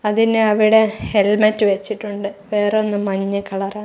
അതിന് അവിടെ ഹെൽമറ്റ് വെച്ചിട്ടുണ്ട് വേറൊന്ന് മഞ്ഞ കളറാ --